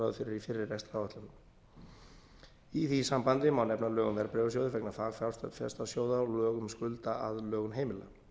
ráð fyrir í fyrri rekstraráætlunum í því sambandi má nefna lög um verðbréfasjóð vegna fagfjárfestasjóða og lög um skuldaaðlögun heimila